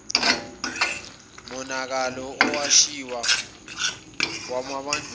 nomonakalo owashiywa wubandlululo